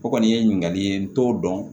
O kɔni ye ɲininkali ye n t'o dɔn